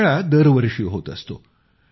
हा मेळा दरवर्षी होत असतो